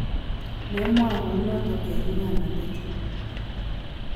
memwa kou noto eng nyikanatet